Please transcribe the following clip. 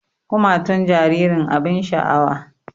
Kumatun jaririn abin sha'awa